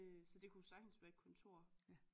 Så det kunne sagtens være et kontor